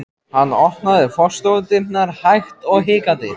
Hann opnaði forstofudyrnar hægt og hikandi.